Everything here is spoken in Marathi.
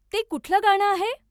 ते कुठलं गाणं आहे?